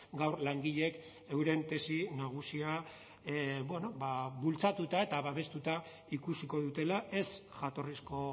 gaur langileek euren tesi nagusia bultzatuta eta babestuta ikusiko dutela ez jatorrizko